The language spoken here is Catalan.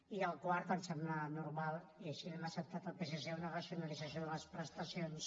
i el quart ens sembla normal i així li hem acceptat al psc una racionalització de les prestacions